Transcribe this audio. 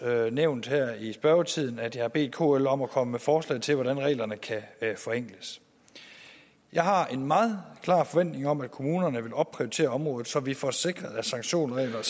nævnt her i spørgetiden at jeg har bedt kl om at komme med forslag til hvordan reglerne kan forenkles jeg har en meget klar forventning om at kommunerne vil opprioritere området så vi får sikret at sanktionsreglerne